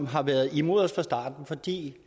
har været imod os fra starten for de